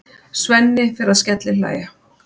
Svenni fer að skellihlæja.